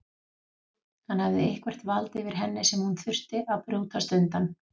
Hann hafði eitthvert vald yfir henni sem hún þurfti að brjótast undan.